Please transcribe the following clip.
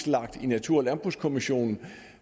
lagt i natur og landbrugskommissionen